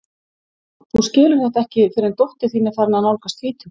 Þú skilur þetta ekki fyrr en dóttir þín er farin að nálgast tvítugt.